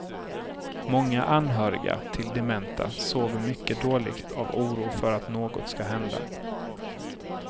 Många anhöriga till dementa sover mycket dåligt av oro för att något ska hända.